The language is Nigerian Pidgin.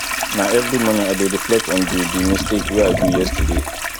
na every morning i dey reflect on di di mistake wey i do yesterday